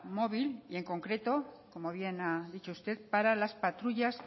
móvil y en concreto como bien ha dicho usted para las patrullas